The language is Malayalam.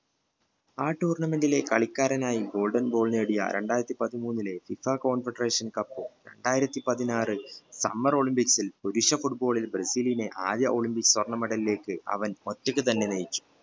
ആ tournament ലെ കളിക്കാരനായി goldball നേടിയ രണ്ടായിരത്തി പതിമൂന്നിലെ fifaconfederationcup രണ്ടായിരത്തി പതിനാറു summerolymipcs ബ്രസീലിനെ ആദ്യ ഒളിമ്പിക്സ് സ്വർണം medal ലേക്ക് അവൻ ഒറ്റയ്ക്ക് തന്നെ ജയിച്ചു